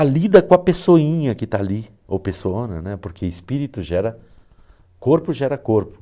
A lida com a pessoinha que está ali, ou pessoona, né, porque espírito gera... Corpo gera corpo.